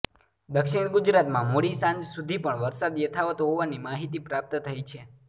દક્ષિણ ગુજરાતમાં મોડી સાંજ સુધી પણ વરસાદ યથાવત હોવાની માહિતી પ્રાપ્ત થઇ છે